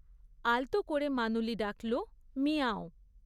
আলতো করে মানুলি ডাকল, মিয়াঁওও!